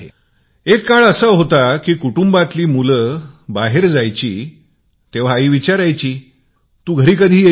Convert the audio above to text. एक वेळ होती कुटुंबातील मुले बाहेर जात होती तर आई विचारायची तू घरी कधी येशील